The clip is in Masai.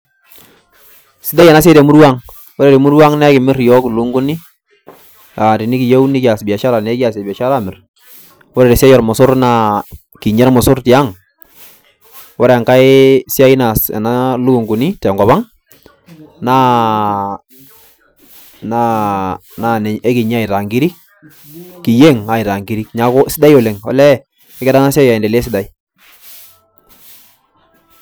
Sidai enasiai temurua ang'. Ore temurua ang',na ekimir yiok ilukunkuni, ah tenikiyieu nikias biashara na ekiasie biashara amir. Ore tesiai ormosor naa kinya imorsor tiang'. Ore enkae siai naas ena lukunkuni tenkop ang', naa ekinya aitaa nkirik, kiyieng' aitaa nkirik. Neeku sidai oleng'. Olee kegira enasiai aendelea esidai.